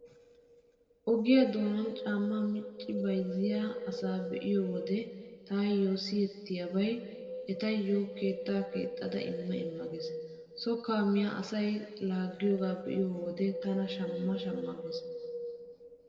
Ogiyaa doonan caammaa micci bayzziyaa asa be'iyo wode tawu siyettiyabay etaayyo 'keettaa keexxada imma imma' gees. So kaamiya asay laaggiyoogaa be'iyo wode tana shamma shamma gees.